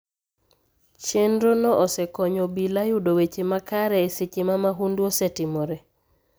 Chenrono osekonyo obila yudo weche makare e seche ma mahundu osetimore.